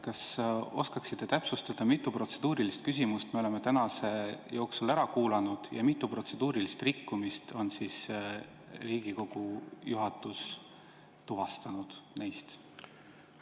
Kas oskaksite täpsustada, mitu protseduurilist küsimust me oleme tänase jooksul ära kuulanud ja neist mitu protseduurilist rikkumist on Riigikogu juhatus tuvastanud?